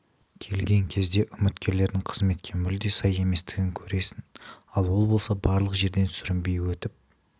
келген кезде үміткердің қызметке мүлде сай еместігін көресің ал ол болса барлық жерден сүрінбей өтіп